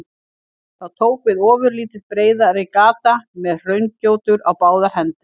Þá tók við ofurlítið breiðari gata með hraungjótur á báðar hendur.